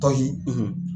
Tɔ ye